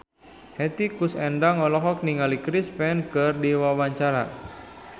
Hetty Koes Endang olohok ningali Chris Pane keur diwawancara